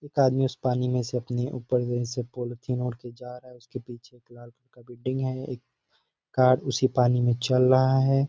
एक आदमी उस पानी में से अपनी ऊपर से पॉलिथईन ओढ़ कर जा रहा है उसके पीछे एक लाल कलर का बिल्डिंग है एक कार उसी पानी में चल रहा है|